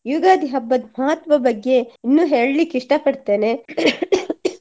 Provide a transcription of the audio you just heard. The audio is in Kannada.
ಯುಗಾದಿ ಹಬ್ಬದ್ ಮಹತ್ವ ಬಗ್ಗೆ ಇನ್ನು ಹೇಳ್ಳಿಕ್ಕೆ ಇಷ್ಟ ಪಡ್ತೇನೆ